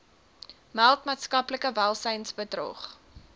meld maatskaplike welsynsbedrog